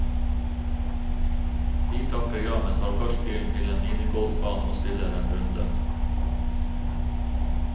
Vi takker ja, men tar først bilen til en minigolfbane og spiller en runde.